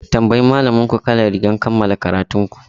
Tambayi malaminku kalar rigar kammala karatun ku!